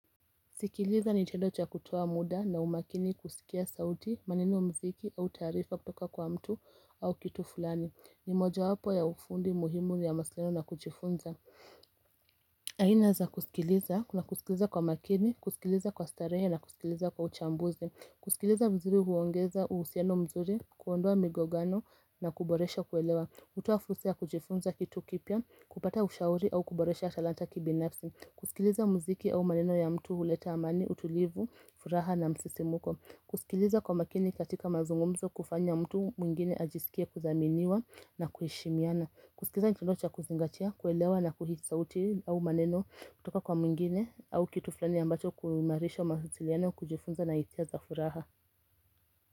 Kusikiliza ni tendo cha kutoa muda na umakini kusikia sauti, maneno mziki au taarifa kutoka kwa mtu au kitu fulani. Ni moja wapo ya ufundi muhimu ni ya mawasiliano na kujifunza. Aina za kusikiliza, kuna kusikiliza kwa makini, kusikiliza kwa starehe na kusikiliza kwa uchambuzi. Kusikiliza vizuri huongeza uhusiano mzuri, kuondoa migogano na kuboresha kuelewa. Hutoa fursa ya kujifunza kitu kipya, kupata ushauri au kuboresha talanta kibinafsi. Kusikiliza muziki au maneno ya mtu huleta amani, utulivu, furaha na msisimuko. Kusikiliza kwa makini katika mazungumzo hufanya mtu mwingine ajisikia kuthaminiwa na kuheshimiana. Kusikiza ni tendo cha kuzingatia, kuelewa na kuhisi sauti au maneno kutoka kwa mwingine au kitu fulani ambacho kuimarisha mawasiliano, kujifunza na hisia za furaha.